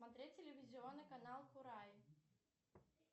смотреть телевизионный канал курай